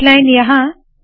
H line यहाँ